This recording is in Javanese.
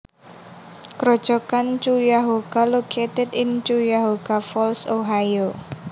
Grojogan Cuyahoga located in Cuyahoga Falls Ohio